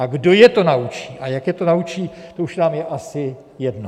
A kdo je to naučí a jak je to naučí, to už nám je asi jedno.